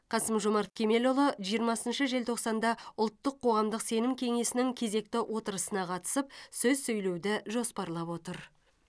қасым жомарт кемелұлы жиырмасыншы желтоқсанда ұлттық қоғамдық сенім кеңесінің кезекті отырысына қатысып сөз сөйлеуді жоспарлап отыр